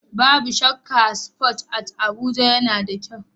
Babu shakka, a Spoon It a Abuja, yana da kyau.